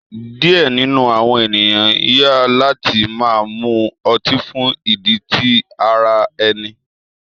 Diẹ ninu awọn eniyan yan lati ma mu oti fun idi ti ara ẹni.